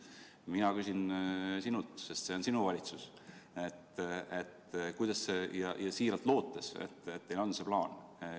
Mina küsin sinult, sest see on sinu valitsus, ja siiralt loodan, et teil on see plaan.